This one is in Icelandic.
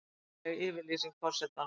Ómakleg yfirlýsing forsetans